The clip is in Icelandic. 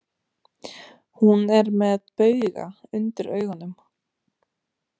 Hún er með bauga undir augunum.